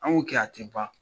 An b'o kɛ a ti ban